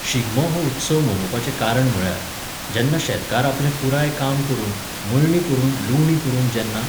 शिगमो हो उत्सव मनोवपाचें कारण म्हुळ्यार, जेन्ना शेतकार आपलें पुराय काम करून, मळणी करून, लुवणी करून जेन्ना